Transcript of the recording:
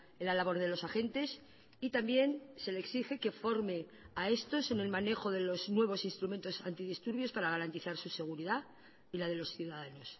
en la labor de los agentes y también se le exige que forme a estos en el manejo de los nuevos instrumentos antidisturbios para garantizar su seguridad y la de los ciudadanos